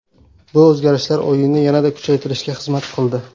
Bu o‘zgarishlar o‘yinni yanada kuchaytirishga xizmat qildi.